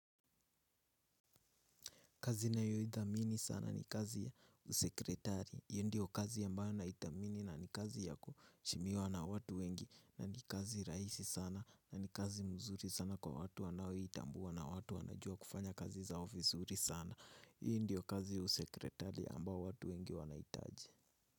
Kazi nayoidhamini sana ni kazi ya usekretari. Hiyo ndiyo kazi ambayo naithamini na ni kazi ya kuheshimiwa na watu wengi. Na ni kazi rahisi sana na ni kazi nzuri sana kwa watu wanaoitambua na watu wanajua kufanya kazi zao vizuri sana. Hii ndiyo kazi ya usekretari ambayo watu wengi wanahitaji.